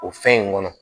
O fɛn in kɔnɔ